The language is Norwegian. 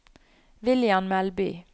William Melby